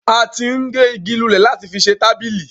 a ti ń gé igi lulẹ̀ láti fi ṣe tábìlì.